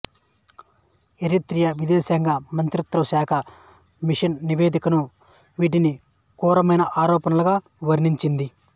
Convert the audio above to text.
Eritrea విదేశాంగ మంత్రిత్వశాఖ commission నివేదిక వీటిని క్రూరమైన ఆరోపణలుగా వర్ణించింది